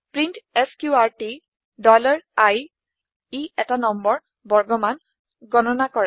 print এছক্ৰুটি iই ১টা নম্বৰ বৰ্গমান গণনা কৰে